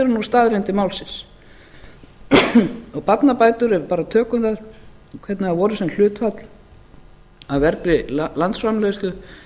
nú staðreyndir málsins barnabætur ef við bara tökum þær hvernig þær voru sem hlutfall af vergri landsframleiðslu